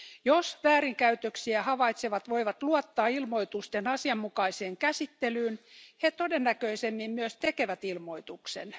Jos väärinkäytöksiä havaitsevat voivat luottaa ilmoitusten asianmukaiseen käsittelyyn, he todennäköisemmin myös tekevät ilmoituksen.